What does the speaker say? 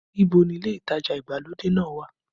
Ìbò ni ilé ìtajà ìgbàlódé náà wà?